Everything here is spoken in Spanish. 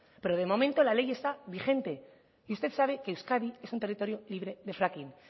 pero de momento la ley está vigente y usted sabe que euskadi es un territorio libre de fracking